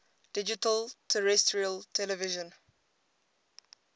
digital terrestrial television